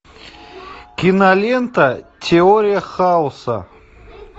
кинолента теория хаоса